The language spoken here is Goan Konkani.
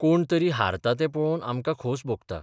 कोण तरी हारता तें पळोवन आमकां खोस भोगता.